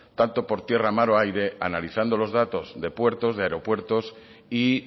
tanto por tierra mar o aire analizando los datos de puertos de aeropuertos y